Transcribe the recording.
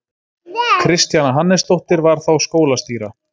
Kristjana Hannesdóttir var þá skólastýra.